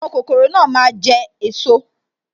Àwọn kokoro náà máa jẹ esot